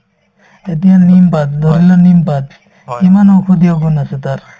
এতিয়া নিমপাত ধৰিলোৱা নিমপাত কিমান ঔষধীয় গুণ আছে তাৰ